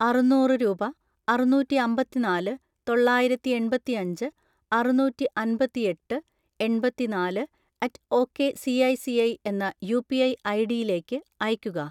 അറുന്നൂറ് രൂപ , അറുന്നൂറ്റിഅമ്പതിനാല് തൊള്ളായിരത്തിഎൺപത്തിഅഞ്ച് അറുനൂറ്റിഅൻപത്തിഎട്ട് എൺപത്തിനാല് അറ്റ് ഒക്കെ സിഐസിഐ എന്ന യുപിഐ ഐഡിയിലേക്ക് അയയ്ക്കുക.